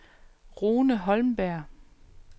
Rune Holmberg